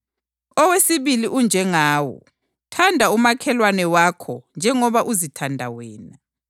Wonke uMthetho labaPhrofethi kweyeme kuyonale imilayo emibili.” UKhristu UyiNdodana Kabani?